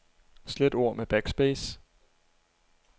Slet ord med backspace.